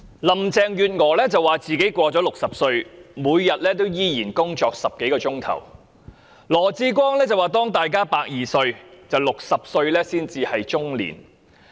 林鄭月娥說自己過了60歲，每天仍然工作10多小時；羅致光則說當大家的壽命有120歲時 ，60 歲只是中年。